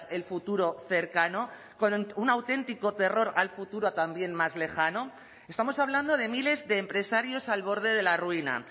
el futuro cercano con un auténtico terror al futuro también más lejano estamos hablando de miles de empresarios al borde de la ruina